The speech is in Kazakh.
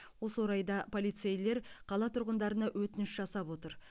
осы орайда полицейлер қала тұрғындарына өтініш жасап отыр